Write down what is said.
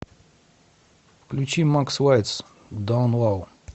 включи макс лайтс даун лоу